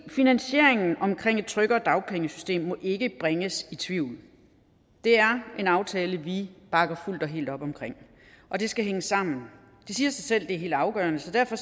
finansieringen af et tryggere dagpengesystem må ikke bringes i tvivl det er en aftale vi bakker fuldt og helt op om og det skal hænge sammen det siger sig selv at det er helt afgørende så derfor